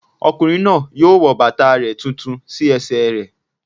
Ọkùnrin náà yóò wọ bàtà rẹ̀ tuntun sí ẹsẹ̀ rẹ̀